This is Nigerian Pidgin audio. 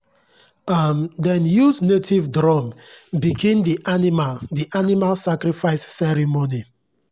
um dem use native drum begin the animal the animal sacrifice ceremony.